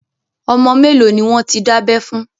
Ọmọ mẹ́lòó ni wọ́n ti dábẹ́ fún?